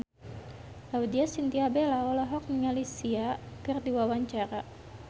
Laudya Chintya Bella olohok ningali Sia keur diwawancara